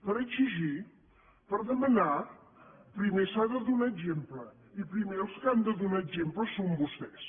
per exigir per demanar primer s’ha de donar exemple i primer els que han de donar exemple són vostès